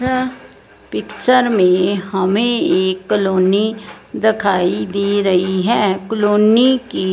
अ picture में हमें एक कलोनी दिखाई दे रही है कलोनी की--